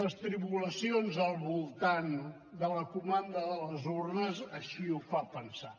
les tribulacions al voltant de la comanda de les urnes així ho fan pensar